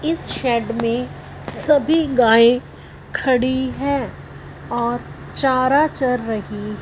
इस शेड में सभी गाय खड़ी है और चारा चर रही--